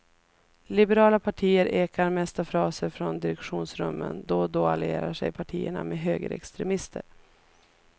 Liberala partier ekar mest av fraser från direktionsrummen, då och då allierar sig partierna med högerextremister.